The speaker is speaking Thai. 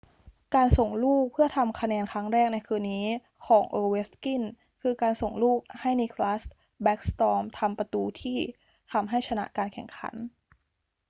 การส่งลูกเพื่อทำคะแนนครั้งแรกในคืนนี้ของ ovechkin คือ การส่งลูกให้ nicklas backstrom ทำประตูที่ทำให้ชนะการแข่งขัน